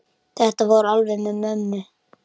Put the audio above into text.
Þetta fór alveg með ömmu.